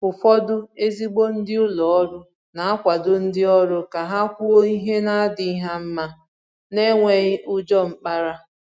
Ụ́fọ̀dụ̀ ezigbo ndị ụlọ òrụ́ na-akwàdo ndị òrụ́ ka ha kwùò ihe na-adịghị ha mma n’enwèghì ùjọ mkpàrà.